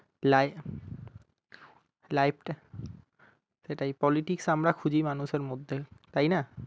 Li~ life টা সেটাই politics আমরা খুজি মানুষের মধ্যে তাই না?